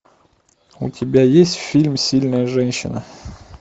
у тебя есть фильм сильная женщина